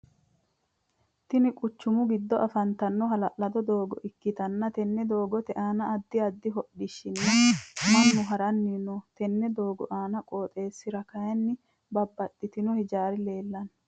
Tinni quchumu gido afantano ha'lalado doogo ikitanna tenne doogote aanna addi addi hodhishinna Manu haranni no. Tenne doogo qooxeesira kayinni babbaxino hijaari leelano.